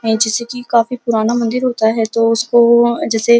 जैंसे कि काफी पुराना मंदिर होता है तो उसको जैसे --